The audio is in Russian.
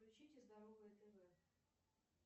включите здоровое тв